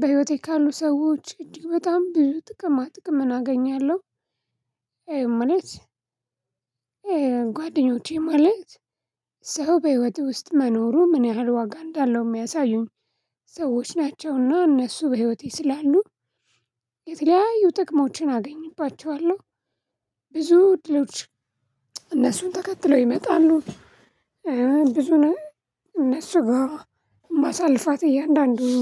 በህይወቴ ካሉ ሰዎች እጅግ በጣም ብዙ ጥቅማ ጥቅምን አገኛለሁ ማለት ጓደኞቼ ማለት ሰው በህይወት ውስጥ መኖሩ ምን ያህል ዋጋ እንዳለው የሚያሳዩኝ ሰዎች ናቸውና እነሱ በህይወቴ ስላሉ የተለያዩ ጥቅሞችን አገኝባቸዋለሁ እድሎች እነሱን ተከትለው ይመጣሉ ብዙ እነሱ ጋራ ማሳልፋት እያንዳንዱን